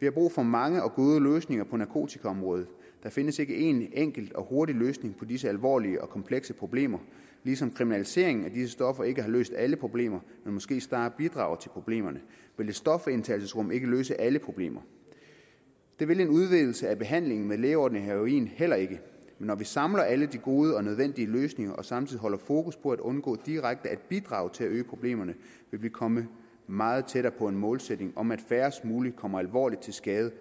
vi har brug for mange og gode løsninger på narkotikaområdet der findes ikke en enkelt og hurtig løsning på disse alvorlige og komplekse problemer ligesom kriminaliseringen af disse stoffer ikke har løst alle problemer men måske snarere bidraget til problemerne vil stofindtagelsesrum ikke løse alle problemer det vil en udvidelse af behandlingen med lægeordineret heroin heller ikke men når vi samler alle de gode og nødvendige løsninger og samtidig holder fokus på at undgå direkte at bidrage til at øge problemerne vil vi komme meget tættere på en målsætning om at færrest mulige kommer alvorligt til skade